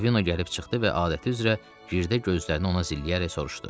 Ravino gəlib çıxdı və adəti üzrə girdə gözlərini ona zilləyərək soruşdu.